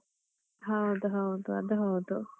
ಹೌದ್ ಹೌದು ಅದ್ ಹೌದು.